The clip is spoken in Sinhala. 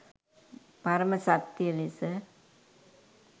පරම සත්‍ය ලෙස